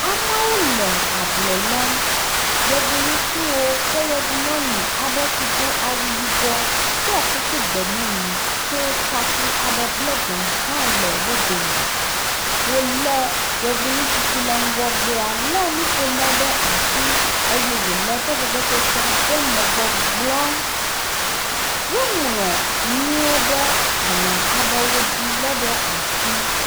Amewo le ablɔ lɔm. Yevu ŋutsuwo kple yevu nyɔnu aɖe si do awu yibɔ, ɖɔ kuku gbemumu tso taku bla ve hã le wo dome. Wolé yevu ŋutsu si le ŋgɔgbea lé nuƒomɔ ɖe asi eye wole eƒe vevesesea ɖem le gbɔgblɔm. Woŋlɔ nuwo ɖe agbalẽ aɖe dzi helé ɖe asi.